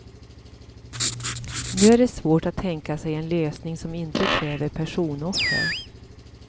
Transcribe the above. Nu är det svårt att tänka sig en lösning som inte kräver personoffer.